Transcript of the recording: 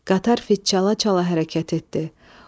Qatar ça-ça hərəkət etdi.